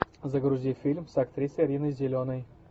загрузи фильм с актрисой риной зеленой